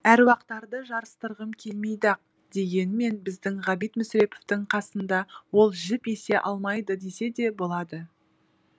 әруақтарды жарыстырғым келмейді ақ дегенмен біздің ғабит мүсіреповтың қасында ол жіп есе алмайды десе де болады